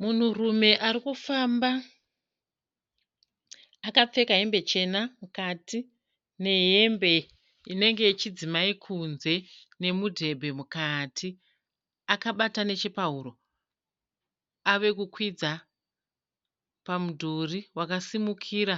Munhurume arikufamba akapfeka hembe chena mukati mehembe inenge yechidzimai kunze nemudhebhe mukati. Akabata nechepahuro. Avekukwidza pamudhuri wakasimukira